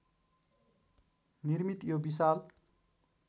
निर्मित यो विशाल